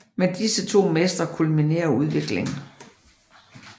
Med disse to mestre kulminerer udviklingen